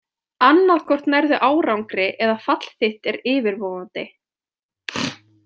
Annað hvort nærðu árangri eða fall þitt er yfirvofandi.